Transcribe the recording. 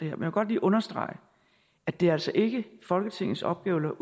jeg vil godt lige understrege at det altså ikke er folketingets opgave eller